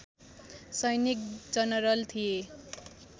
सैनिक जनरल थिए